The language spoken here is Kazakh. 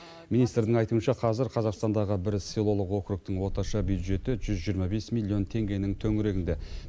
министрдің айтуынша қазір қазақстандағы бір селолық округтің орташа бюджеті жүз жиырма бес миллион теңгенің төңірегінде